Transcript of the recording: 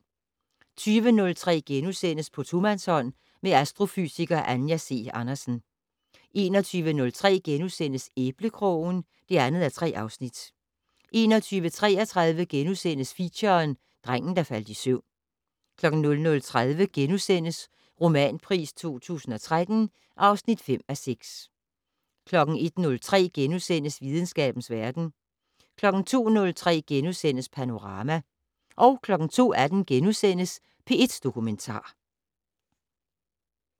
20:03: På tomandshånd med astrofysiker Anja C. Andersen * 21:03: Æblekrogen (2:3)* 21:33: Feature: Drengen, der faldt i søvn * 00:30: Romanpris 2013 (5:6)* 01:03: Videnskabens verden * 02:03: Panorama * 02:18: P1 Dokumentar *